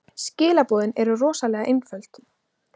Skilaboðin eru rosalega einföld.